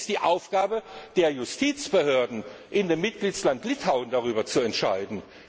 Es ist die Aufgabe der Justizbehörden in dem Mitgliedsland Litauen, darüber zu entscheiden.